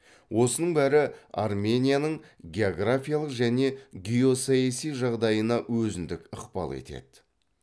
осының бәрі арменияның географиялық және геосаяси жағдайына өзіндік ықпал етеді